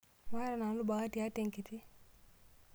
Maata nanu bahati hata enkiti.